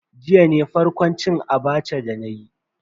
Jiya ne farkon cin Abacha dana yi.